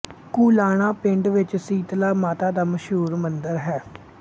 ਕੁਲਾਣਾ ਪਿੰਡ ਵਿੱਚ ਸੀਤਲਾ ਮਾਤਾ ਦਾ ਮਸ਼ਹੂਰ ਮੰਦਰ ਹੈ